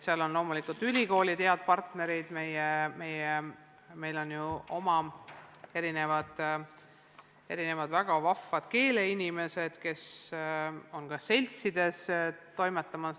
Loomulikult on ka ülikoolid head partnerid, samuti on meil ju oma väga vahvaid keeleinimesi, kes on seltsides toimetamas.